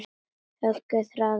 Höggin harðna.